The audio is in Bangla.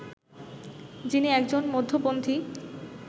যিনি একজন মধ্যপন্থী